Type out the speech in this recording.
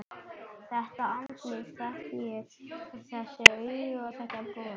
Þetta andlit þekki ég: Þessi augu, þetta bros.